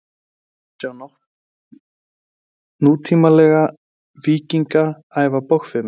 hér má sjá nútímalega „víkinga“ æfa bogfimi